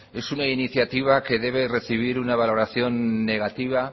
es una iniciativa que debe recibir una valoración negativa